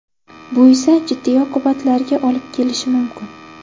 Bu esa jiddiy oqibatlarga olib kelishi mumkin.